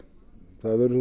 það verður þá